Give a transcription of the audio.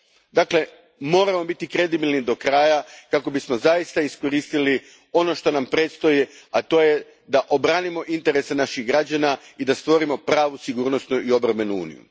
Dakle, moramo biti kredibilni do kraja kako bismo zaista iskoristili ono što nam predstoji, a to je da obranimo interese naših građana i da stvorimo pravu sigurnosnu i obrambenu uniju.